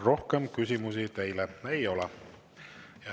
Rohkem küsimusi teile ei ole.